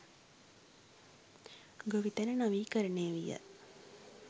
ගොවිතැන නවීකරණය විය.